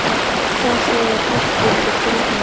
Hvað sagði háttvirtur þingmaður?